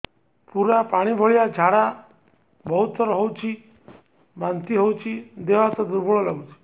ପୁରା ପାଣି ଭଳିଆ ଝାଡା ବହୁତ ଥର ହଉଛି ବାନ୍ତି ହଉଚି ଦେହ ହାତ ଦୁର୍ବଳ ଲାଗୁଚି